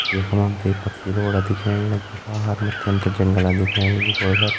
यख मा हम ते पक्की रोडा दिखेण लगीं पार मथि हम ते जंगला दिखेण लग्युं कुड़ा पर --